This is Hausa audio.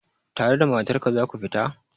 Tare da matar ka za ku fita?